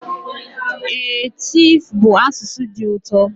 Ee, tiv bụ asụsụ dị ụtọ.